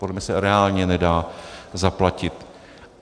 Podle mě se reálně nedá zaplatit.